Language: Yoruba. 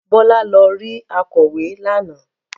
Bọ́lá lọ rí akọ̀wé lánàá.